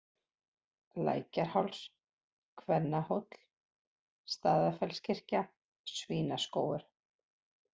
Lækjarháls, Kvennahóll, Staðarfellskirkja, Svínaskógur